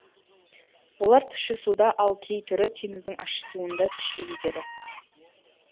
олар тұщы суда ал кей түрі теңіздің ащы суында тіршілік етеді